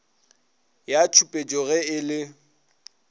ya tšhupetšo ge e le